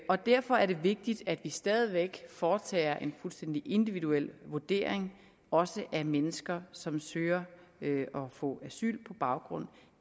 og derfor er det vigtigt at vi stadig væk foretager en fuldstændig individuel vurdering også af mennesker som søger at få asyl på baggrund